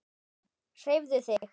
Hreyfðu þig.